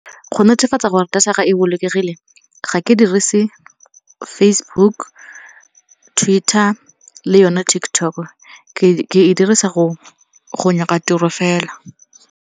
Go netefatsa gore data ya ka e bolokegile ga ke dirise Facebook, Twitter le yone TikTok. Ke e dirisa go nyaka tiro fela.